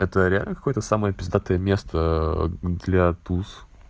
это реально какое-то самое пиздатое место для тус